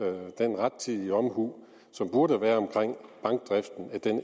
den rettidige omhu som burde være